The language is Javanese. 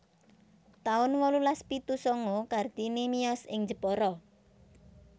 taun wolulas pitu sanga Kartini miyos ing Jepara